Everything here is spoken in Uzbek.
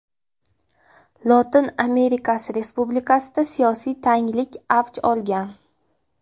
Lotin Amerikasi respublikasida siyosiy tanglik avj olgan.